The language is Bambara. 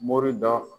Mori dɔ